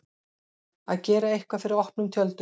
Að gera eitthvað fyrir opnum tjöldum